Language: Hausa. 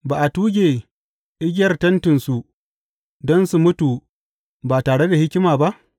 Ba a tuge igiyar tentinsu, don su mutu ba tare da hikima ba?